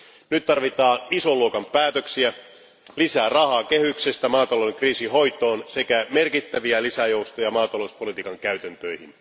Nyt tarvitaan ison luokan päätöksiä lisää rahaa kehyksestä maatalouskriisin hoitoon sekä merkittäviä lisäjoustoja maatalouspolitiikan käytäntöihin.